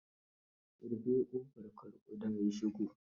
Rufe ƙofar kar ƙuda ya shigo.